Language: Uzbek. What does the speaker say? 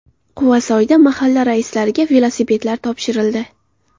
Quvasoyda mahalla raislariga velosipedlar topshirildi.